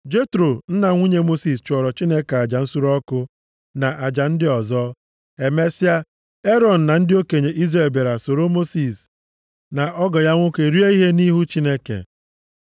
Jetro, nna nwunye Mosis chụọrọ Chineke aja nsure ọkụ na aja ndị ọzọ. Emesịa, Erọn na ndị okenye Izrel bịara soro Mosis na ọgọ ya nwoke rie ihe nʼihu Chineke.